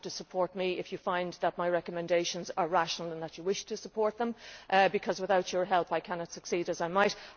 You have to support me if you find that my recommendations are rational and that you wish to support them, because without your help I cannot succeed as I might.